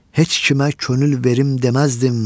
Heç kimə könül verim deməzdim.